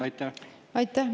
Aitäh!